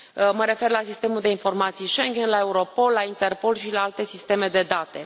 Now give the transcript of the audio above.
Mă refer la sistemul de informații Schengen, la Europol, la Interpol și la alte sisteme de date.